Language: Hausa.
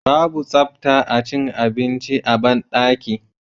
babu tsafta acin abinci a banɗaki